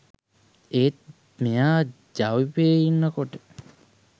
ඒත් මෙයා ජවිපෙ ඉන්නකොටත්